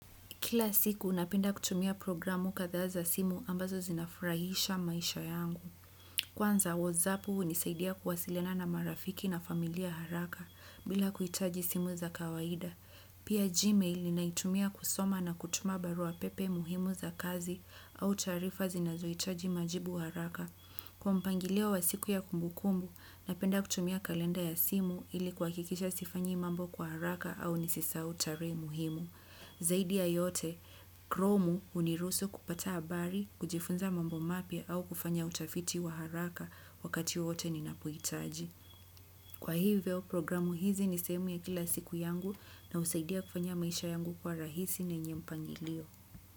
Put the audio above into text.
Kila siku, napenda kutumia programu katha za simu ambazo zinafurahisha maisha yangu. Kwanza, whatsapu hunisaidia kuwasiliana na marafiki na familia haraka bila kuhitaji simu za kawaida. Pia gmail ninaitumia kusoma na kutuma barua pepe muhimu za kazi au taarifa zinazohitaji majibu haraka kwa mpangilio wa siku ya kumbu kumbu napenda kutumia kalenda ya simu ili kuhakisha sifanyi mambo kwa haraka au nisisahau tarehe muhimu. Zaidi ya yote, kromu huniruhusu kupata habari, kujifunza mambo mapya au kufanya utafiti wa haraka wakati wowote ninapohitaji. Kwa hivyo programu hizi ni sehemu ya kila siku yangu na husaidia kufanya maisha yangu kuwa rahisi na yenye mpangilio.